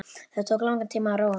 Það tók langan tíma að róa mig.